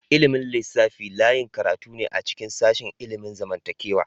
Ilimin lissafi layin karatu ne a cikin sashin ilimin zamantakewa.